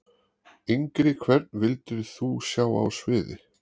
Engri Hvern vildir þú sjá á sviði?